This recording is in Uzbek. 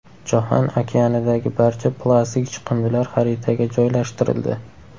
Jahon okeanidagi barcha plastik chiqindilar xaritaga joylashtirildi.